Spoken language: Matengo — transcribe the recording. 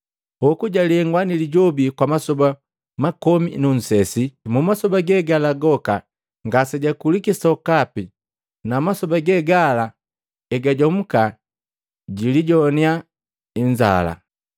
Hoku jalengwa ni Lijobi kwa masoba makomi nu nsesi. Mumasoba ge gala goka ngasejakuliki sokapi na masoba ge gala egajomuka jilijoannya inzala.